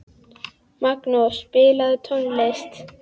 Magnús, spilaðu tónlist.